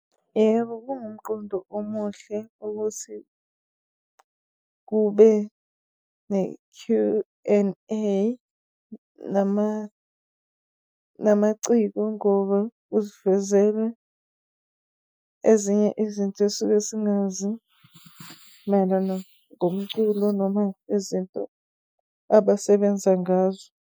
Yebo, kuwumqondo omuhle ukuthi kube ne-Q and A namaciko ngoba kusivezele ezinye izinto esuke singazi mayelana ngomculo noma izinto abasebenza ngazo.